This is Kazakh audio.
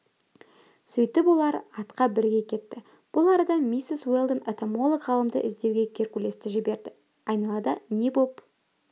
сөйтіп олар атқа бірге кетті бұл арада миссис уэлдон энтомолог-ғалымды іздеуге геркулесті жіберді айналада не боп